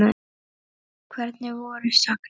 Hvernig voru sagnir?